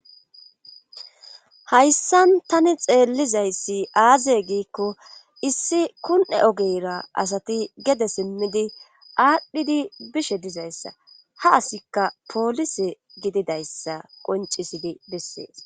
hayssan tani xeellizayssi aaze giikko issi kun7e ogeyra asati gede simmidi aadhdhidi bishe dizayssa ha asikka poolise gididayssa qoncisidi bessees